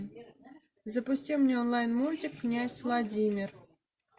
запусти мне онлайн мультик князь владимир